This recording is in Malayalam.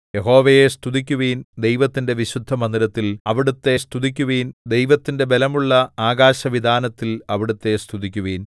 യഹോവയെ സ്തുതിക്കുവിൻ ദൈവത്തിന്റെ വിശുദ്ധമന്ദിരത്തിൽ അവിടുത്തെ സ്തുതിക്കുവിൻ ദൈവത്തിന്റെ ബലമുള്ള ആകാശവിതാനത്തിൽ അവിടുത്തെ സ്തുതിക്കുവിൻ